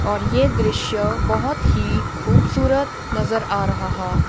और ये दृश्य बहोत ही खूबसूरत नजर आ रहा हा।